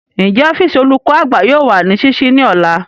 Njẹ ọfiisi olukọ-agba yoo wa ni ṣiṣii ni ọla?